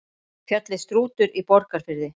Fjallið Strútur í Borgarfirði.